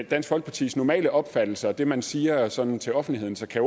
dansk folkepartis normale opfattelse og det man siger sådan til offentligheden så kan